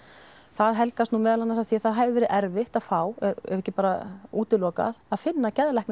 það helgast nú meðal annars af því að það hefur verið erfitt að fá ef ekki bara útilokað að finna geðlækni